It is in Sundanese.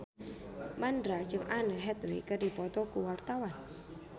Mandra jeung Anne Hathaway keur dipoto ku wartawan